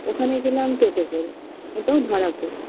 ওখানে গেলাম toto করে ওটাও ভাড়া করে